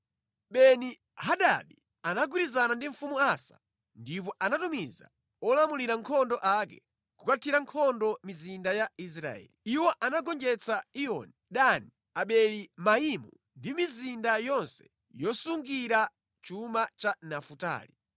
Beni-Hadadi anagwirizana ndi mfumu Asa ndipo anatumiza olamulira nkhondo ake kukathira nkhondo mizinda ya Israeli. Iwo anagonjetsa Iyoni, Dani, Abeli-Maimu ndi mizinda yonse yosungira chuma ya Nafutali.